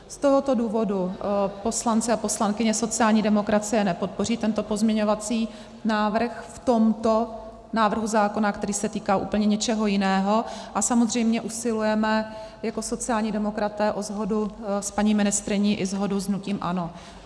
Z tohoto důvodu poslanci a poslankyně sociální demokracie nepodpoří tento pozměňovací návrh v tomto návrhu zákona, který se týká úplně něčeho jiného, a samozřejmě usilujeme jako sociální demokraté o shodu s paní ministryní i shodu s hnutím ANO.